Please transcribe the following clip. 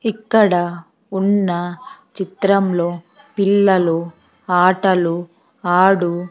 ఇక్కడ ఉన్న చిత్రంలో పిల్లలు ఆటలు ఆడు --